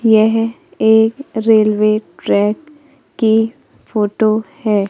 यह एक railway track की फोटो है।